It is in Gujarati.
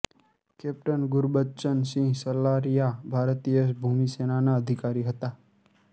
કેપ્ટન ગુરબચ્ચન સિંહ સલારીઆ ભારતીય ભૂમિસેનાના અધિકારી હતા